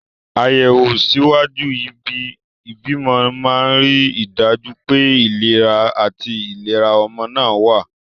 Àyẹ̀wò ṣíwájú ìbímọ máa ń rí i dájú pé ìlera àti ìlera ọmọ náà wà.